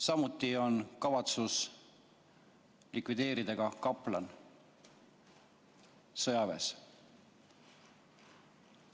Samuti on kavatsus likvideerida kaplanaat sõjaväes.